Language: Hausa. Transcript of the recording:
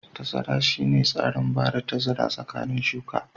Tazara shine tsarin bada tazara tsakanin shuka.